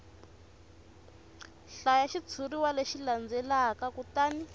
hlaya xitshuriwa lexi landzelaka kutani